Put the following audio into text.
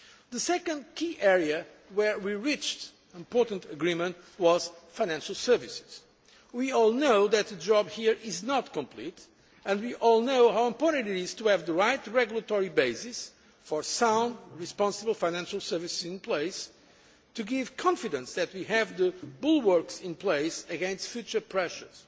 The second key area where we reached important agreement was financial services. We all know that the job here is not complete and we all know how important it is to have the right regulatory basis for sound responsible financial services, to give confidence that we have the bulwarks in place against future pressures.